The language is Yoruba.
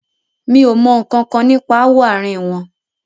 Mi o mọ nkankan nípa ááwọ̀ àárín wọn.